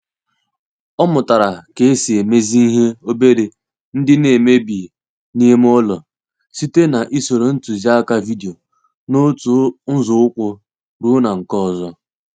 Ọ mụtara ka esi emezi ihe obere ndi na emebi na ime ụlọ site na ịsoro ntuzi aka vidio n'otu nzo ụkwụ ruo na nke ọzọ.